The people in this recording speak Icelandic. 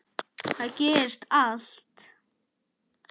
Þar gerist allt.